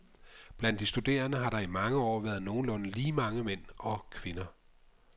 Blandt de studerende har der i mange år været nogenlunde lige mange mænd og kvinder.